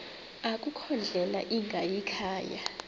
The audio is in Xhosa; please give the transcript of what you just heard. akukho ndlela ingayikhaya